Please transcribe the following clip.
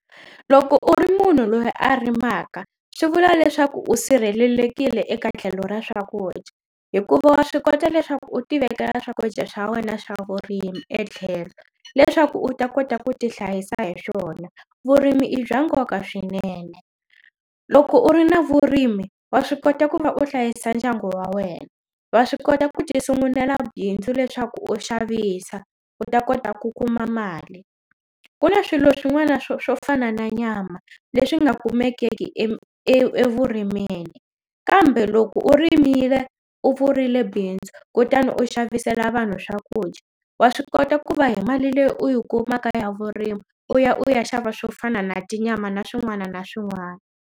Loko u ri munhu loyi a rimaka swi vula leswaku u sirhelelekile eka tlhelo ra swakudya hikuva wa swi kota leswaku u tivekela swakudya swa wena swa vurimi etlhelo leswaku u ta kota ku ti hlayisa hi swona vurimi i bya nkoka swinene loko u ri na vurimi wa swi kota ku va u hlayisa ndyangu wa wena wa swi kota ku ti sungunela bindzu leswaku u xavisa u ta kota ku kuma mali ku na swilo swin'wana swo swo fana na nyama leswi nga kumekeki e evurimini kambe loko u ri rimile u pfurile bindzu kutani u xavisela vanhu swakudya wa swi kota ku va hi mali leyi u yi kumaka ya vurimi u ya u ya xava swo fana na tinyama na swin'wana na swin'wana.